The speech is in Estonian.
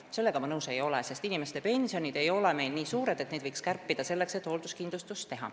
Sellega ma nõus ei ole, sest inimeste pensionid ei ole meil nii suured, et neid võiks kärpida selleks, et hoolduskindlustust luua.